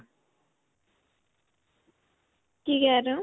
ਕੀ ਕਹਿ ਰਹੇ ਹੋ?